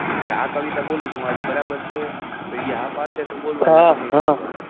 કે આ કવિતા બોલીશ હું આજે બરાબર છે પછી હા પડશે તો બોલવાની નઈ તો નઈ બોલવાની.